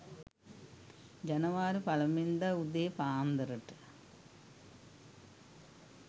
ජනවාරි පලමුවෙනිදා උදේ පාන්දර ට